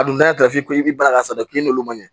A dun dafili i bɛ baara k'a sanfɛ k'i n'olu maɲi